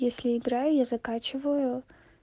если играю я заканчиваю